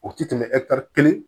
O ti tɛmɛ kelen